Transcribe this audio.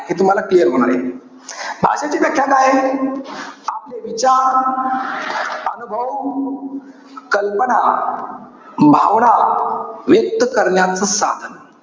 हे तुम्हाला clear होणारे भाषेची व्याख्या काय आहे? आपले विचार, अनुभव, कल्पना, भावना, व्यक्त करण्याचं साधन.